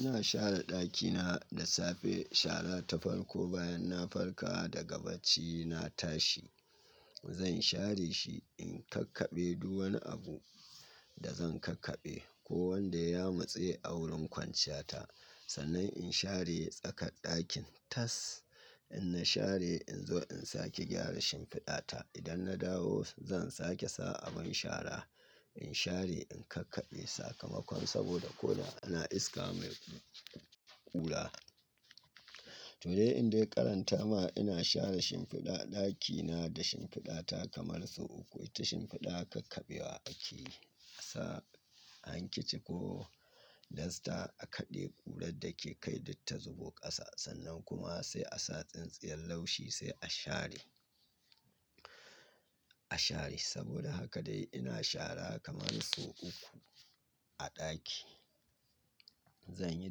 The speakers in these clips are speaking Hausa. Ina share ɗakina da safe shara ta farko bayan na farka daga bacina tashi. Zan share shi in kakkaɓe duk wanni abu da zan kakkade. Ko wanda ya yamatse a wurin kwanciya ta. Sannan in share tsakar ɗakin tas. In na share in zo in sake gyara shimfiɗa ta. Idan na dawo zan sake sa abin shara. In share in kakkaɓe sakamakon saboda ko da ana iska mai ƙura. To dai in dai ƙaranta ma ina share shimfiɗa ɗakina da shimfiɗa ta kamar sau uku. Ita shimfiɗa kakkaɓewa ake sa a hankici ko dasta aka ɗebi ƙurar da ke kai duk ta zubo ƙasa. Sannan kuma sai a sa tsintsiyar laushi sai a share, a share. Saboda haka dai ina shara kamar sau uku a ɗaki. Zanyi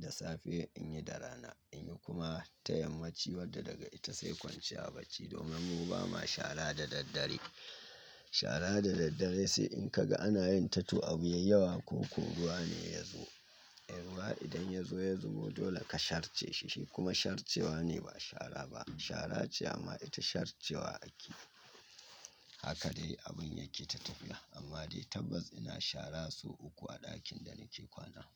da safe in yi da rana in yi kuma ta yammaci wadda daga ita sai kwanciya bacci. Domin mu ba ma shara da daddare. Shara da daddare sai in ka ga ana yin ta to abu ya yi yawa koko ruwa ne ya zo. Ruwa idan ya zo ya zubo dole ka sharce shi. Shi kuma sharcewa ne ba shara ba. Shara ce amma ita sharcewa ake. Haka dai abun yake ta tafiya. Amma dai tabbas ina shara sau uku a ɗakin da nake kwana.